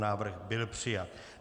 Návrh byl přijat.